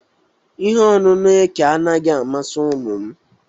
Ihe ọṅụṅụ eke anaghị amasị ụmụ m